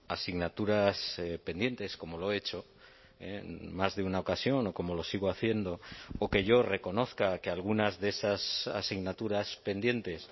asignaturas pendientes como lo he hecho en más de una ocasión o como lo sigo haciendo o que yo reconozca que algunas de esas asignaturas pendientes